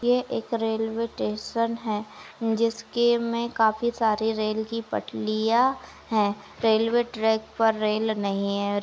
ये एक railway station है जिसके में काफी सारी रेल की पटलियाँ हैं। रेलवे ट्रैक पर रेल नही है। और --